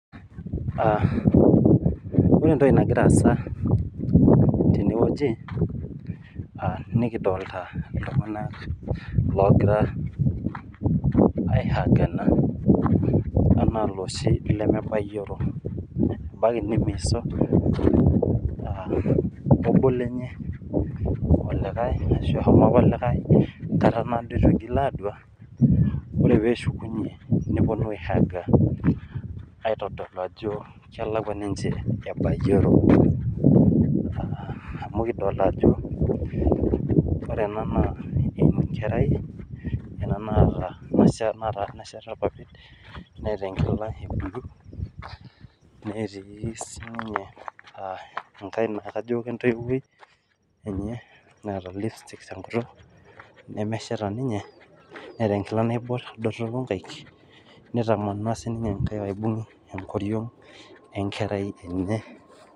Ore entoki nagira aasa teneweji, nikidolita iltunganak ogira aihangana enaa loshi lemebayioro. Ebaiki nimiiso ebo lenye olikae ashu eshomo apa obo enkata naado eitu eigil adua ,ore pee eshukunye, neponu aihaanga aitodolu ajo kelekwa ninche ebayioro. Amuklidolita ajo ore ena naa enkerai ,ena nasheta irpapit neeta enkila ebulu, netii siininye enkae naa kajo kentoiwoi enye naata lipstick tenkutuk, nemeshaita ninye, neeta enkila naibor doropu nkaek, nitamana siininye nkaek aibung enkoriong enkerai enya.